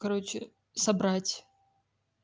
короче собрать